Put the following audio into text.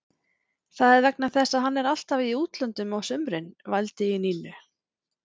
Það er vegna þess að hann er alltaf í útlöndum á sumrin, vældi í Nínu.